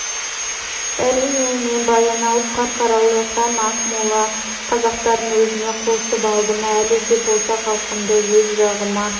әрине мен баянауыл қарқаралы һәм ақмола қазақтарын өзіме қосып алдым әлі де болса халқымды өз жағыма